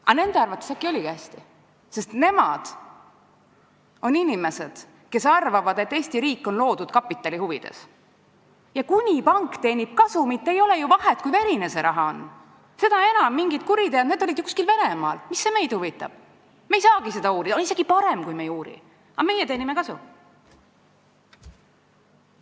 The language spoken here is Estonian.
Aga nende arvates äkki oligi hästi, sest nemad on inimesed, kes arvavad, et Eesti riik on loodud kapitali huvides, ja kuni pank teenib kasumit, ei ole ju vahet, kui verine see raha on, seda enam, et need mingid kuriteod olid ju kuskil Venemaal ja mis see meid huvitab, me ei saagi neid uurida, isegi parem, kui me ei uuri, aga meie teenime kasumit.